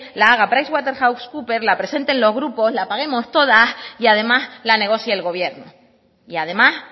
la haga pwc la presenten los grupos la paguemos todas y además la negocie el gobierno y además